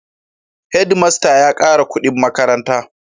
Head master ya kara kudin makaranta